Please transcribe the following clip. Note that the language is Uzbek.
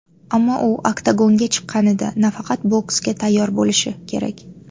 Ammo u oktagonga chiqqanida, nafaqat boksga tayyor bo‘lishi kerak.